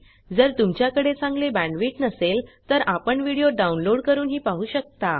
जर तुमच्याकडे चांगली बॅण्डविड्थ नसेल तर आपण व्हिडिओ डाउनलोड करूनही पाहू शकता